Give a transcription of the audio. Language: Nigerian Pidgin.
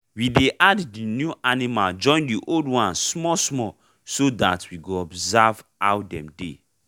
we dey add the new animal join the old ones small small so that we go observe ow dem dey